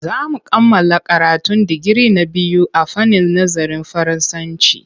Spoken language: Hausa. Za mu kammala karatun digiri na biyu a fannin nazarin Faransanci.